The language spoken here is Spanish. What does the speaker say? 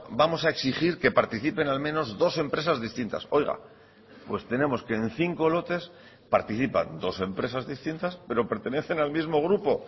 vamos a exigir que participen al menos dos empresas distintas oiga pues tenemos que en cinco lotes participan dos empresas distintas pero pertenecen al mismo grupo